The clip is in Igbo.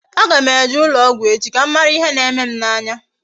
A ga m eje ụlọ ọgwụ echi ka m mara ihe na-eme m n'anya